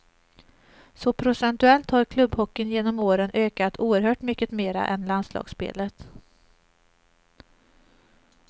Så procentuellt har klubbhockeyn genom åren ökat oerhört mycket mera än landslagsspelet.